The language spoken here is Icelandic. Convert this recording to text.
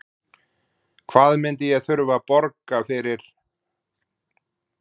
Hvað myndi ég þurfa að borga eins og fyrir þennan bol hérna frá Hugleiki?